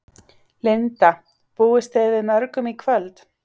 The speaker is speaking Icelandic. Linda: Búist þið við mörgum í kvöld?